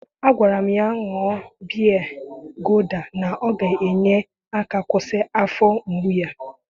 Agwara m ya ka ọ ṅụọ biya guda, na ọ ga-enye aka kwụsị afọ mgbu yá.